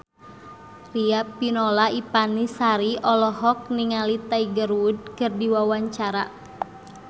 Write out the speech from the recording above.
Riafinola Ifani Sari olohok ningali Tiger Wood keur diwawancara